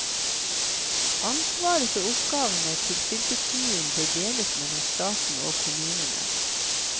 Ansvaret og oppgavene til fylkeskommunen bør deles mellom staten og kommunene.